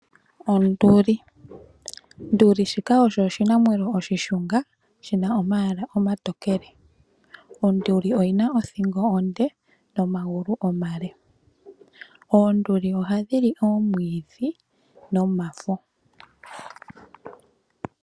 Onduli shika osho oshinamwenyo oshishunga shina omayala omatokele. Onduli oyina othingo onde nomagulu omale. Oonduli ohadhi li oomwiidhi nomafo.